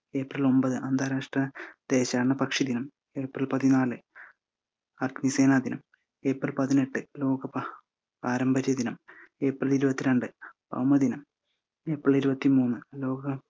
April ഒമ്പത് അന്താരാഷ്ട്ര ദേശാടനപക്ഷി ദിനം, ഏപ്രിൽ പതിനാല് അഗ്നിസേന ദിനം, ഏപ്രിൽ പതിനെട്ട് പാരമ്പര്യ ദിനം, ഏപ്രിൽ ഇരുപത്തിരണ്ടു ഭൗമ ദിനം, ഏപ്രിൽ ഇരുപത്തിമൂന്ന് ലോക